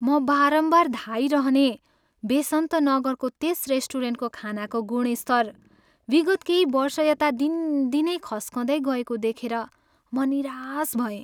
म बारम्बार धाइरहने बेसन्त नगरको त्यस रेस्टुरेन्टको खानाको गुणस्तर विगत केही वर्षयता दिनदिनै खस्कँदै गएको देखेर म निराश भएँ।